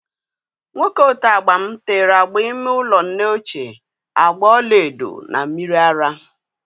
Nwoke oteagba m tere agba ime ụlọ nne ochie agba ọlaedo na mmiri ara